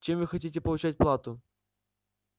чем вы хотите получать плату